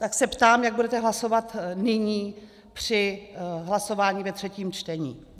Tak se ptám, jak budete hlasovat nyní při hlasování ve třetím čtení.